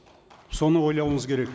соны ойлауыңыз керек